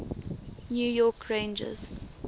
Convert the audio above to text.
new york rangers